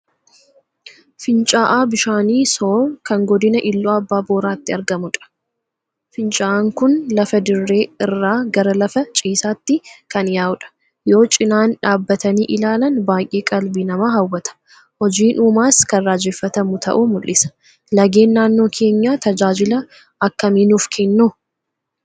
Fincaa'aa bishaanii Soor kan godina Iluu Abbaa Booraatti argamudha. Fincaa'aan kun lafa dirree irraa gara lafa ciisaatti kan yaa'udha. Yoo cinaan dhaabbatanii ilaalan baay'ee qalbii namaa hawwata. Hojiin uumaas kan raajeffatamu ta'uu mul'isa. Lageen naannoo keenyaa tajaajila akkamii nuuf kennu?